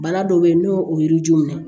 Bana dɔ bɛ yen n'o ye yiri ju minɛ